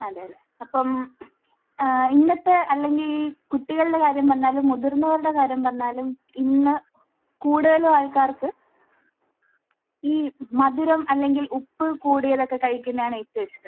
അതെ. അപ്പോൾ ഏഹ് ഇന്നത്തെ അല്ലെങ്കിൽ കുട്ടികളുടെ കാര്യം പറഞ്ഞാലും മുതിർന്നവരുടെ കാര്യം പറഞ്ഞാലും ഇന്ന് കൂടുതലും ആൾക്കാർക്ക് ഈ മധുരം അല്ലെങ്കിൽ ഉപ്പ് കൂടിയതൊക്കെ കഴിക്കുന്നതാണ് ഏറ്റവും ഇഷ്ടം.